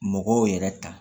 Mɔgɔw yɛrɛ ta